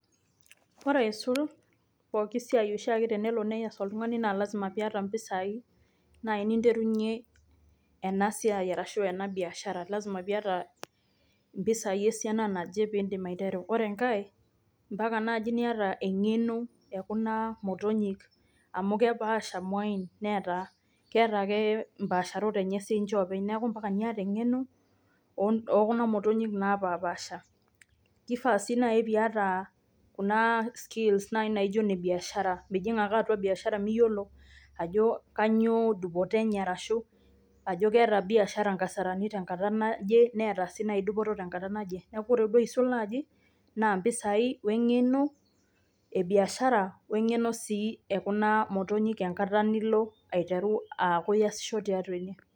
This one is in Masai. Koree aisul pokin siai oshiake tenelo neyas oltung'ani naa lazima piyata mpisai naji niterunye ena siai arashu ena biashara lazima piyata mpisai esiana naje pidim aiteru. Ore enkae mpaka naji niyata eng'eno ee kuna motonyik amu kepaasha muain neeta keeta ake mpaasharot enye si ninche openy neeku ampaka niata eng'eno oo kuna motonyik napasha pasha. Kifaa sii naji piyata kuna skills naijo ne biashara pemijing' ake atua biashara miyiolo ajo kainyoo dupoto enye ashu ketaa biashara nkasarani tenkata naje neeta sii naji dupoto tenkata naje. Neeku ore si aisul naaji na mpisai wee ng'eno ee biashara wee ng'eno sii ekuna motonyik enkata nilo aiteru aakuu iyasisho tiatua ene.